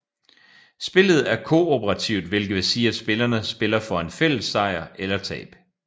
Spillet er kooperativt hvilket vil sige at spillerne spiller for en fælles sejr eller tab